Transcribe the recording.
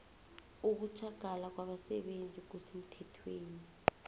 ukutjhagala kwabasebenzi kusemthethweni